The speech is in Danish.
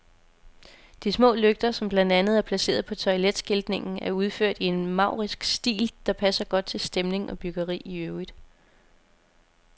De små lygter, som blandt andet er placeret på toiletskiltningen, er udført i en maurisk stil, der passer godt til stemning og byggeri i øvrigt.